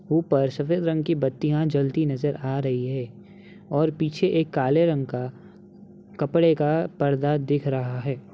ऊपर सफेद रंग की बत्तियां जलती नजर आ रही है और पीछे एक काले रंग का कपड़े का पर्दा दिख रहा है।